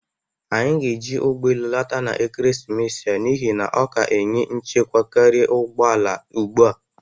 Anyị ga-eji ụgbọ elụ lọta n'ekeresimesi a n'ihi na ọ ka enye nchekwa karịa ụgbọ ala ugbu a.